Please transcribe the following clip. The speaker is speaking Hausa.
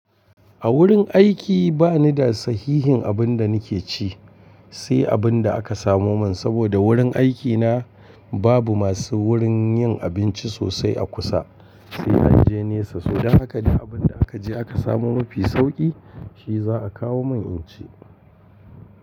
A wurin aiki ba ni da sahihin abin da nake ci, sai abin da aka samo mun saboda wurin aikina babu masu wurin yin abinci sosai a kusa sai an je nesa. To don haka duk abin da aka je aka samo mafi sauki shi za a kawo mun in ci.